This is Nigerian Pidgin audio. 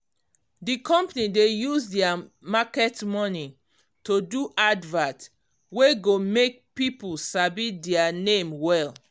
d company dey use their market money to do advert wey go make people sabi dia name well